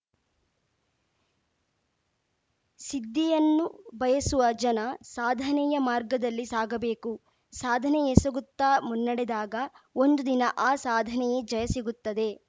ಸಿದ್ದಿಯನ್ನು ಬಯಸುವ ಜನ ಸಾಧನೆಯ ಮಾರ್ಗದಲ್ಲಿ ಸಾಗಬೇಕು ಸಾಧನೆಯೆಸಗುತ್ತಾ ಮುನ್ನಡೆದಾಗ ಒಂದು ದಿನ ಆ ಸಾಧನೆಯೆ ಜಯ ಸಿಗುತ್ತದೆ